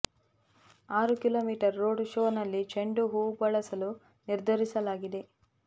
ಆರು kilometre road ಶೋನಲ್ಲಿ ಚೆಂಡು ಹೂ ಬಳಸಲು ನಿರ್ಧರಿಸಲಾಗಿದೆ